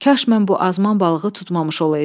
kaş mən bu azman balığı tutmamış olaydım.